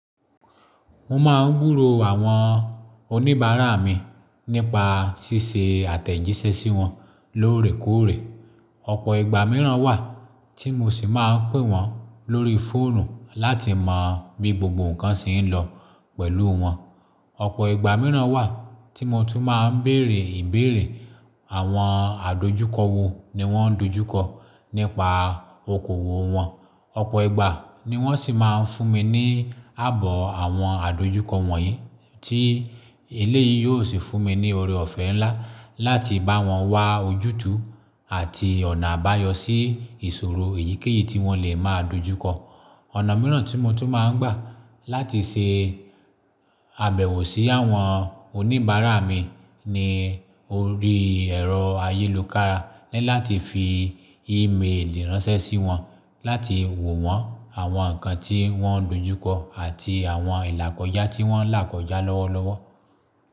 Mo máa ń gbúró àwọn oníbàárà mi nípa ṣíṣe àtẹ̀jíṣẹ́ sí wọn lóòrèkóòrè. Ọ̀pọ̀ ìgbà mìíràn wà tí mo sì máa ń pè wọ́n lórí fóònù láti mọ bí gbogbo nǹkan ṣe ń lọ pẹ̀lú wọn. Ọ̀pọ̀ ìgbà mìíràn wà tí mo tún máa ń bèèrè ìbéèrè àwọn àdojúkọ wo ni wọ́n ń dojúkọ nípa okòwò wọn. Ọ̀pọ̀ ìgbà ni wọ́n sì máa ń fún mi ní àbọ̀ àwọn àdojúkọ wọ̀nyí tí eléyìí yóò sì fún mi ní oore ọ̀fẹ́ ńlá láti bá wọn wá ojútùú àti ọ̀nà àbáyọ sí ìṣòro èyíkéyìí tí wọ́n lè máa dojúkọ. Ọ̀nà mìíràn tí mo tún máa ń gbà láti ṣe àbẹ̀wò sí àwọn oníbàárà mi ni orí ẹ̀rọ ayélukara e láti fi ímeèlì ránṣẹ́ sí wọn láti wò wọ́n àwọn nǹkan tí wọ́n dojúkọ àti àwọn ìlàkọjá tí wọ́n là kọjá lọ́wọ́lọ́wọ́.